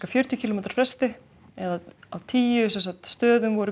fjörutíu kílómetra fresti eða á tíu stöðum voru